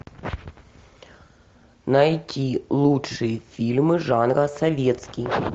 найти лучшие фильмы жанра советский